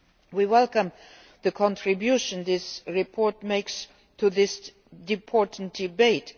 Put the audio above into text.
We welcome the contribution this report makes to this important debate.